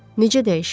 Necə dəyişib?